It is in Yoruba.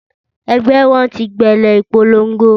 Ẹgbẹ́ wọn ti bẹ̀rẹ̀ ìpolongo